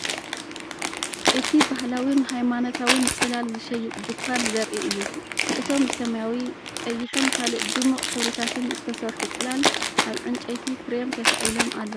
እቲ ባህላዊን ሃይማኖታውን ጽላል ዝሸይጥ ድኳን ዘርኢ እዩ። እቶም ብሰማያዊ፡ ቀይሕን ካልእ ድሙቕ ሕብርታትን ዝተሰርሑ ጽላል፡ ኣብ ዕንጨይቲ ፍሬም ተሰቒሎም ኣለዉ።